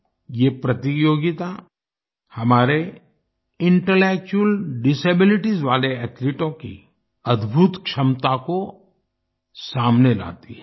ये प्रतियोगिता हमारे इंटेलेक्चुअल डिसेबिलिटीज वाले एथलीटों की अद्भुत क्षमता को सामने लाती है